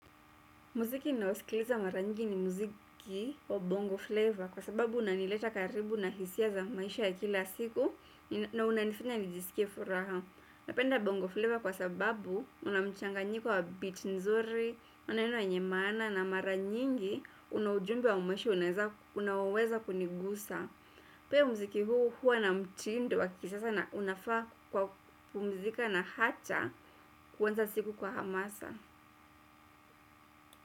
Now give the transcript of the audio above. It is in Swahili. Muziki ninaosikiliza mara nyingi ni muziki wa bongo flavor kwa sababu unanileta karibu na hisia za maisha ya kila siku na unanifanya nijisikie furaha napenda bongo flavor kwa sababu unamchanganyiko wa beat nzuri, unaneno wenye maana na mara nyingi unaujumbe wa maisha unaweza kunigusa. Pia muziki huu huwa na mtindo wa kisasa na unafaa kwa kupumzika na hata kuanza siku kwa hamasa.